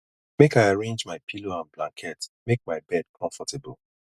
make i arrange my pillow and blanket make my bed comfortable